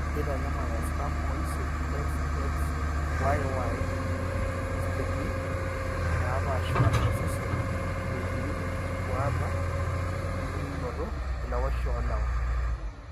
Keitanyamal artam oisiet, XXYY isistemi naapaashipaasha osesen etii enkisumbuaata embulunoto elewaisho oolewa.